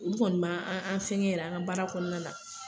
U kɔni man an an fɛnkɛ yɛrɛ an ka baara kɔnɔna na.